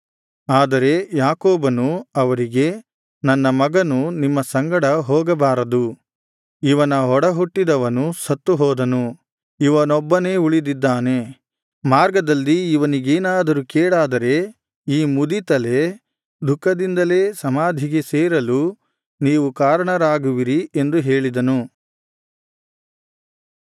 ಆದರೆ ಯಾಕೋಬನು ಅವರಿಗೆ ನನ್ನ ಮಗನು ನಿಮ್ಮ ಸಂಗಡ ಹೋಗಬಾರದು ಇವನ ಒಡಹುಟ್ಟಿದವನು ಸತ್ತು ಹೋದನು ಇವನೊಬ್ಬನೇ ಉಳಿದಿದ್ದಾನೆ ಮಾರ್ಗದಲ್ಲಿ ಇವನಿಗೇನಾದರೂ ಕೇಡಾದರೆ ಈ ಮುದಿ ತಲೆ ದುಃಖದಿಂದಲೇ ಸಮಾಧಿಗೆ ಸೇರಲು ನೀವು ಕಾರಣರಾಗುವಿರಿ ಎಂದು ಹೇಳಿದನು